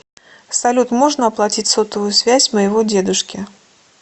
салют можно оплатить сотовую связь моего дедушки